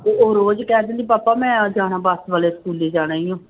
ਉਹ ਰੋਜ਼ ਹੀ ਕਹਿ ਦਿੰਦੀ ਪਾਪਾ ਮੈਂ ਜਾਣਾ ਬਸ ਵਾਲੇ ਸਕੂਲੇ ਜਾਣਾ ਹੀ ਆਂ।